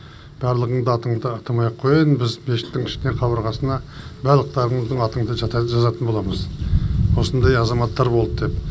барлығынды атыңды атамай ақ қояйын біз мешіттің ішіне қабырғасына барлықтарыңыздың атыңды жазатын боламыз осындай азаматтар болды деп